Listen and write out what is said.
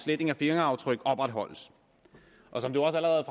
sletning af fingeraftryk opretholdes som det også allerede